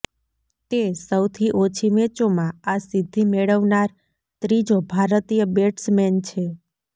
તે સૌથી ઓછી મેચોમાં આ સિદ્ધિ મેળવનાર ત્રીજો ભારતીય બેટ્સમેન છે